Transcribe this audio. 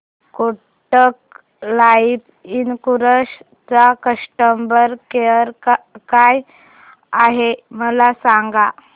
Kotak Life Insurance चा customer care काय आहे मला सांगा